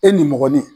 E nimɔgɔnin